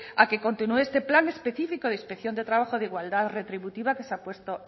a que continúe este plan específico de inspección de trabajo de igualdad retributiva que se ha puesto